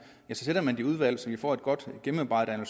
så sender man det i udvalg så vi får et godt gennemarbejdet og